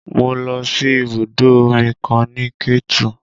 Mo lọ sí ibùdó omi kan ní Ketu